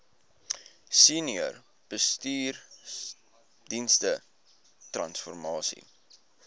senior bestuursdienste transformasie